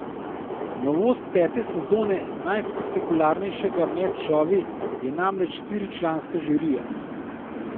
Novost pete sezone najspektakularnejšega med šovi je namreč štiričlanska žirija.